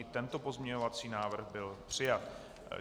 I tento pozměňovací návrh byl přijat.